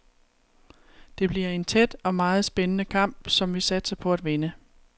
Det bliver en tæt og meget spændende kamp, som vi satser på at vinde.